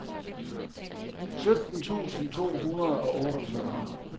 sytten tusind to hundrede og otteogfyrre